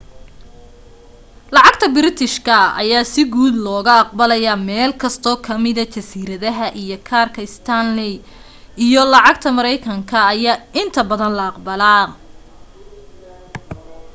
lacagta biritishaka ayaa si guud looga aqbalaya meelkasto ka mida jasiiradaha iyo kaarka stanley iyo lacaga mareykanka ayaa inta badan la aqbalaa